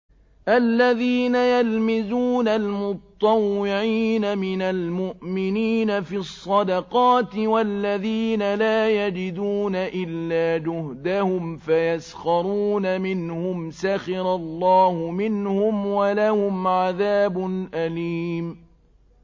الَّذِينَ يَلْمِزُونَ الْمُطَّوِّعِينَ مِنَ الْمُؤْمِنِينَ فِي الصَّدَقَاتِ وَالَّذِينَ لَا يَجِدُونَ إِلَّا جُهْدَهُمْ فَيَسْخَرُونَ مِنْهُمْ ۙ سَخِرَ اللَّهُ مِنْهُمْ وَلَهُمْ عَذَابٌ أَلِيمٌ